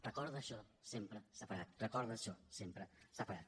recorda això sempre sepharad recorda això sempre sepharad